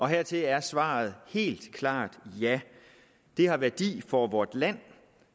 hertil er svaret helt klart ja de har værdi for vort land